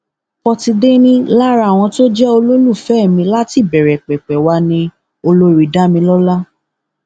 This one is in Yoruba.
pọtidé ni lara àwọn tó jẹ olólùfẹ mi láti ìbẹrẹ pẹpẹ wá ni olórí damilọla